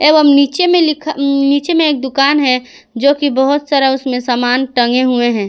एवं नीचे में लिखा नीचे में एक दुकान है जो की बहुत सारा सामान उसमें टंगे हुए हैं।